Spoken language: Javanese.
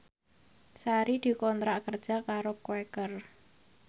Sari dikontrak kerja karo Quaker